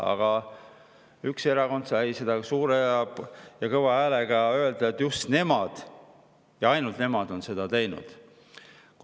Aga üks erakond sai kõva häälega öelda, et just nemad ja ainult nemad on seda teinud.